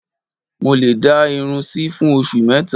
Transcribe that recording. Mo lè dá irun sí fún oṣù mẹ́ta